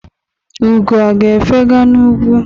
Ugo a ga-efega n'ugwu?